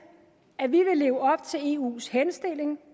at vi vil leve op til eus henstilling